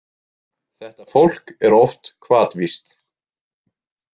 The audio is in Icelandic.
Þetta fólk er oft hvatvíst.